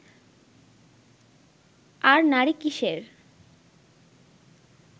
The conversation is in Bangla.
আর নারী কীসের